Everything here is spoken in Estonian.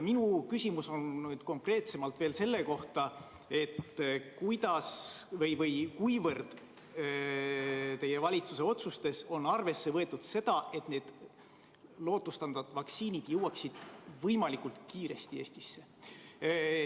Minu küsimus on konkreetsemalt selle kohta, kui palju teie valitsuse otsustes on arvesse võetud eesmärki, et need lootustandvad vaktsiinid jõuaksid võimalikult kiiresti Eestisse.